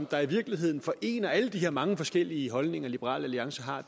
der i virkeligheden forener alle de her mange forskellige holdninger liberal alliance har